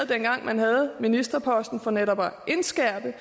dengang man havde ministerposten for netop at indskærpe